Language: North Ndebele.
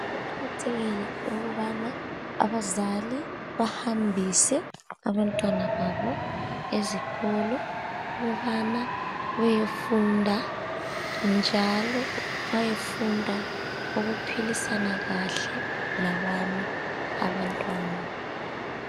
Kuqakathekile ukubana abazali bahambise abantwana babo ezikolo ukubana bayefunda njalo bayefunda ukuphilisana kahle labanye abantwana.